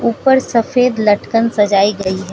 ऊपर सफेद लटकन सजाई गई है।